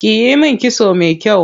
Kiyi min kitso me kyau.